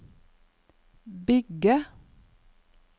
bygge